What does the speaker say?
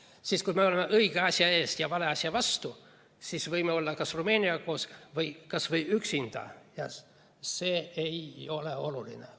Aga siis, kui me seisame õige asja eest ja vale asja vastu, võime olla ka Rumeeniaga koos või kas või üksinda, see ei ole oluline.